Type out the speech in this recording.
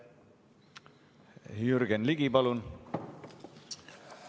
Jürgen Ligi, palun!